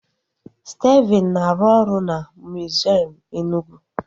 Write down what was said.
Stephen na-arụ ọrụ na miziọm Enugwu